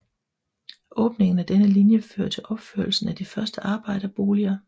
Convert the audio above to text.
Åbningen af denne linje fører til opførelsen af de første arbejderboliger